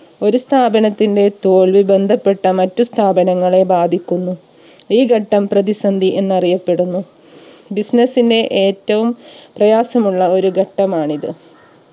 ഒരു സ്ഥാപനത്തിന്റെ തോൽവി ബന്ധപ്പെട്ട മറ്റു സ്ഥാപനങ്ങളെ ബാധിക്കുന്നു ഈ ഘട്ടം പ്രതിസന്ധി എന്നറിയപ്പെടുന്നു business ന്റെ ഏറ്റവും പ്രയാസമുള്ള ഒരു ഘട്ടമാണിത്